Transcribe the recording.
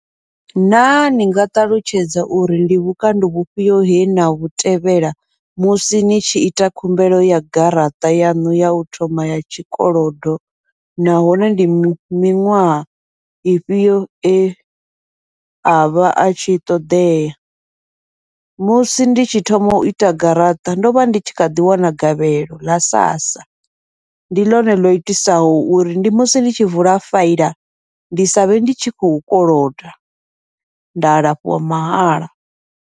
Na ni nga ṱalutshedza uri ndi vhukando vhufhio he navhu tevhela musi ni tshi ita khumbelo ya garaṱa yaṋu yau thoma ya tshikolodo, nahone ndi miṅwaha ifhio e avha atshi ṱoḓea, musi ndi tshi thoma uita garaṱa ndovha ndi tshi kha ḓi wana gavhelo ḽa sassa, ndi ḽone ḽo itisaho uri ndi musi ndi tshi vula faela ndi savhe ndi tshi khou koloda nda alafhiwa mahala.